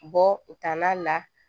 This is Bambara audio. Bɔ u taala la